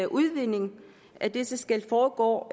udvindingen af disse skal foregå